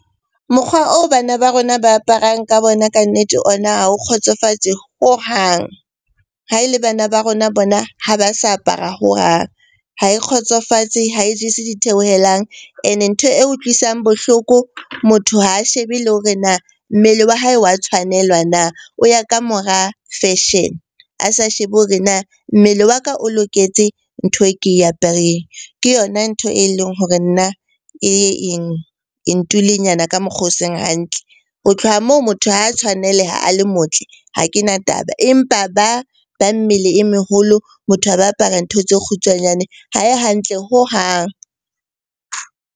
Mokgwa oo bana ba rona ba aparang ka bona kannete ona ha o kgotsofatse hohang. Ha e le bana ba rona bona ha ba sa apara hohang. Ha e kgotsofatse, ha jese ditheohelang. Ene ntho e utlwisang bohloko, motho ha a shebe le hore na mmele wa hae wa tshwanelwa na? O ya ka mora fashion, a sa shebe hore na mmele wa ka o loketse ntho e ke apereng. Ke yona ntho e leng hore nna e ye e ntule nyana ka mokgwa o seng hantle. Ho tloha moo, motho ha a tshwaneleha a le motle ha kena taba. Empa ba bang mmele e meholo, motho a ba apara ntho tse kgutshwanyane ha e hantle hohang.